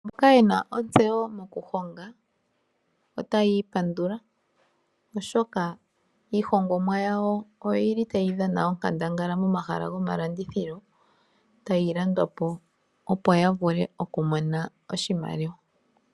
Mboka yena ontseyo moku honga otayi ipandula oshoka iihongomwa yawo oyili tayi dhana onkandangala momahala gomalandithilo tayi landwapo opo ya vule oku mona oshimaliwa.